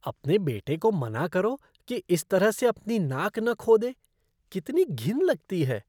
अपने बेटे को मना करो कि इस तरह से अपनी नाक न खोदे। कितनी घिन लगती है।